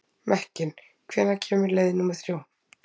Mekkin, hvenær kemur leið númer þrjú?